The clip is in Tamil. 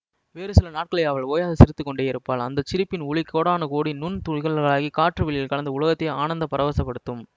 வேறு சில நாட்களில் அவள் ஓயாது சிரித்து கொண்டேயிருப்பாள் அந்த சிரிப்பின் ஒலி கோடானு கோடி நுண் துளிகளாகிக் காற்று வெளியில் கலந்து உலகத்தையே ஆனந்தப் பரவசப்படுத்தும்